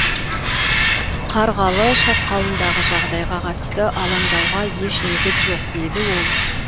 қарғалы шатқалындағы жағдайға қатысты алаңдауға еш негіз жоқ деді ол